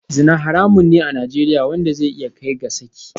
Zina haramun ne a Najeriya wanda zai iya kai ga saki